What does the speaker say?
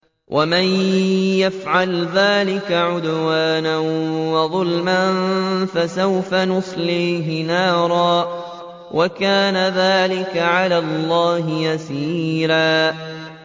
وَمَن يَفْعَلْ ذَٰلِكَ عُدْوَانًا وَظُلْمًا فَسَوْفَ نُصْلِيهِ نَارًا ۚ وَكَانَ ذَٰلِكَ عَلَى اللَّهِ يَسِيرًا